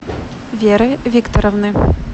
веры викторовны